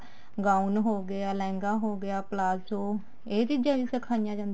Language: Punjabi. gown ਹੋਗਿਆ ਲਹਿੰਗਾ ਹੋਗਿਆ ਪਲਾਜੋ ਇਹ ਚੀਜ਼ਾਂ ਵੀ ਸਿਖਾਈਆਂ ਜਾਂਦੀਆਂ ਨੇ